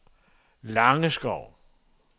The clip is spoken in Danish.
Langeskov